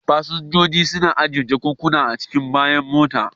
Fasinjojin suna ajiye jakunkuna a cikin bayan mota.